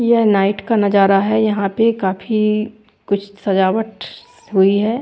ये नाईट का नज़ारा है यहाँ पे काफी कुछ सजावट हुई है।